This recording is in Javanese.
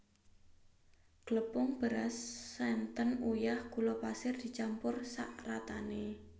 Glepung beras santen uyah gula pasir dicampur saratané